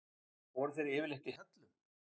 Voru þeir yfirleitt í hellum?